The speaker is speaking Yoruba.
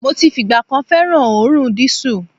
Mo ti fìgbà kan fẹ́ràn òórùn dísù.